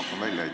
Ma pakun välja.